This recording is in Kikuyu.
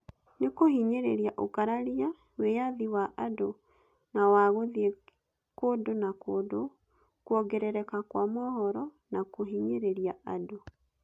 "Nĩ kũhinyĩrĩria ũkararia, wĩyathi wa andũ na wa gũthiĩ kũndũ na kũndũ, kwongerereka kwa mohoro, na kũhinyĩrĩria andũ".